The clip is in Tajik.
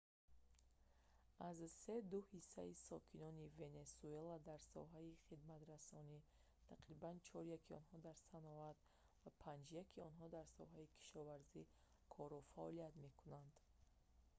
аз се ду ҳиссаи сокинони венесуэла дар соҳаи хидматрасонӣ тақрибан чоряки онҳо дар саноат ва панҷяки онҳо дар соҳаи кишоварзӣ кору фаъолият мекунанд